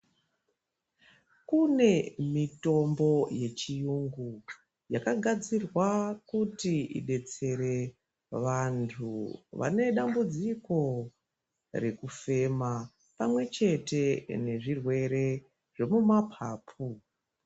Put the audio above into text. Kune mitombo ye chiyungu yaka gadzirwa kuti idetsere vantu vane dambudziko rekufema pamwe chete ne zvirwere zve mu mapapu.